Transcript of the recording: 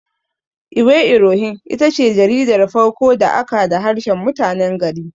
Iwe irohin itace jaridar farko da aka da harshen mutanen gari.